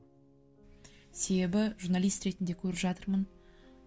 себебі журналист ретінде көріп жатырмын